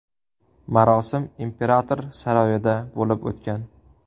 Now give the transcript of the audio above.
Marosim imperator saroyida bo‘lib o‘tgan.